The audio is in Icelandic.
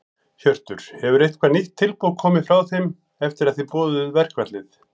Hjörtur: Hefur eitthvað nýtt tilboð komið frá þeim eftir að þið boðuðu verkfallið?